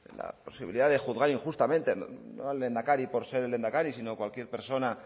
la posibilidad de juzgar injustamente al lehendakari no por ser el lehendakari sino cualquier persona